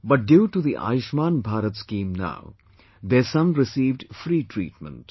But due to the 'Ayushman Bharat' scheme now, their son received free treatment